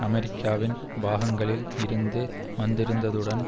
அமெரிக்காவின் பாகங்களில் இருந்து வந்திருந்ததுடன்